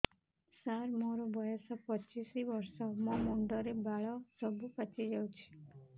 ସାର ମୋର ବୟସ ପଚିଶି ବର୍ଷ ମୋ ମୁଣ୍ଡରେ ବାଳ ସବୁ ପାଚି ଯାଉଛି